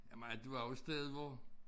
Jamen du er jo et sted hvor